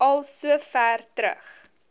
al sover terug